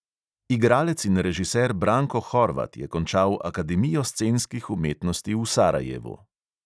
Igralec in režiser branko horvat je končal akademijo scenskih umetnosti v sarajevu.